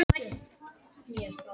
Meintir njósnarar í haldi